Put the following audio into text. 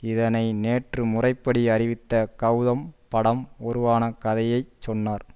இதனை நேற்று முறைப்படி அறிவித்த கௌதம் படம் உருவான கதையை சொன்னார்